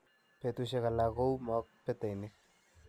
Betushiek alak ko u mook peteinik.